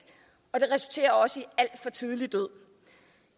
og det resulterer også i alt for tidlig død